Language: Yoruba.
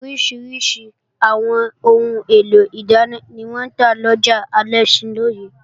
Oríṣiríṣi àwọn ohun èlò ìdáná ni wọ́n ń ta lọjà Alẹ́ṣinlọ́yẹ́